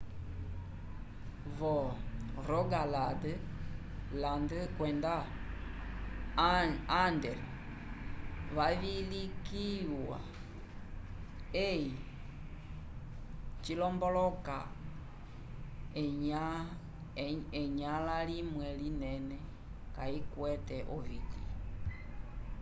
vo-rogaland kwenda agder vavilikiwa hei cilomboloka enyãla limwe linene kayikwete oviti